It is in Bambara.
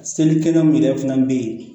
Seli kɛnɛ min yɛrɛ fana bɛ yen